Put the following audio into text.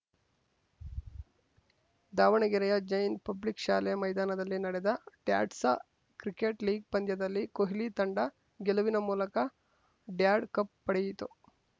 ದಾವಣಗೆರೆಯ ಜೈನ್‌ ಪಬ್ಲಿಕ್‌ ಶಾಲೆ ಮೈದಾನದಲ್ಲಿ ನಡೆದ ಡ್ಯಾಡ್ಸ ಕ್ರಿಕೆಟ್‌ ಲೀಗ್‌ ಪಂದ್ಯದಲ್ಲಿ ಕೋಹ್ಲಿ ತಂಡ ಗೆಲುವಿನ ಮೂಲಕ ಡ್ಯಾಡ್‌ ಕಪ್‌ ಪಡೆಯಿತು